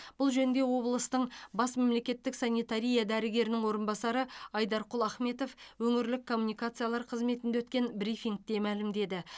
бұл жөнінде облыстың бас мемлекеттік санитария дәрігерінің орынбасары айдарқұл ахметов өңірлік коммуникациялар қызметінде өткен брифингте мәлімдеді